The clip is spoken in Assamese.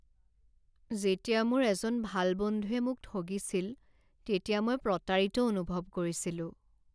যেতিয়া মোৰ এজন ভাল বন্ধুৱে মোক ঠগিছিল তেতিয়া মই প্ৰতাৰিত অনুভৱ কৰিছিলোঁ।